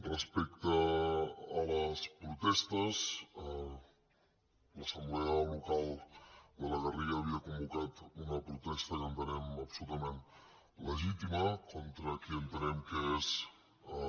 respecte a les protestes l’assemblea local de la garriga havia convocat una protesta que entenem absolutament legítima contra qui entenem que són